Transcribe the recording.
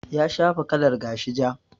Ya shafa kalar gashi ja.